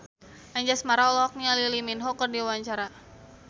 Anjasmara olohok ningali Lee Min Ho keur diwawancara